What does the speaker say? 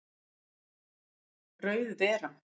Rauð vera